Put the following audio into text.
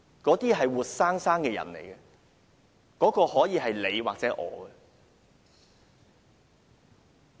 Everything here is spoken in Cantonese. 那些是活生生的人，可以是你或我。